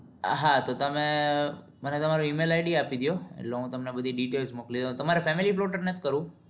આ હા તો તમે મને તમારું E mail id આપી દયો એટલે હું તમને બધી details મોકલી દઉં તમારે filmy plotter નથ કરવું?